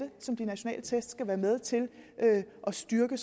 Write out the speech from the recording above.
som de nationale test skal være med til at styrke